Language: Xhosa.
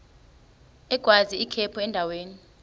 agwaz ikhephu endaweni